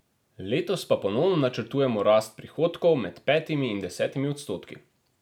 Letos pa ponovno načrtujemo rast prihodkov med petimi in desetimi odstotki.